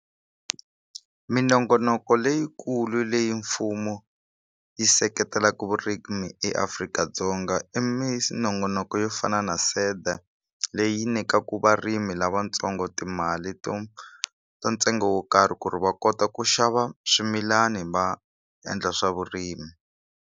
Minongonoko leyikulu leyi mfumo yi seketelaku vurimi eAfrika-Dzonga i minongonoko yo fana na SEDA leyi nyikaku varimi lavatsongo timali to ta ntsengo wo karhi ku ri va kota ku xava swimilani va endla swa vurimi.